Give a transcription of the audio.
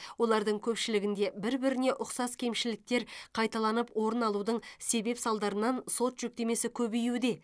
олардың көпшілігінде бір біріне ұқсас кемшіліктер қайталанып орын алудың себеп салдарынан сот жүктемесі көбеюде